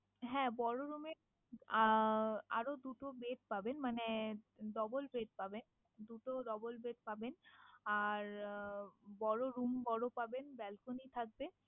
হ্যাঁ বড় room এ আহ আরো দুটো bed পাবেন। মানে double bed পাবেন, দুটো double bed পাবেন আর বড় আহ room বড় পাবেন balcony থাকবে।